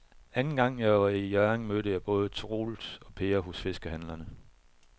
Anden gang jeg var i Hjørring, mødte jeg både Troels og Per hos fiskehandlerne.